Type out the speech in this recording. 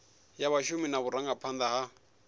ya vhashumi na vhurangaphanda ha